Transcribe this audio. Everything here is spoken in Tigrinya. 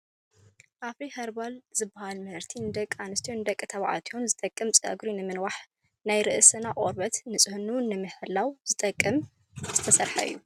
ኣፍሪ ከርባል ዝብል መምረቲ ንደቂ ኣንስትዮን ንደቂ ተባዕትዮን ዝጠቅም ንፀጉሪ ምንውሕን ናይ ርእስና ቆርበት ፅዕንኡ ንምሕላው ዝጠቅም ዝሰርሕ እዩ ።